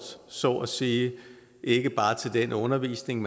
så at sige ikke bare til den undervisning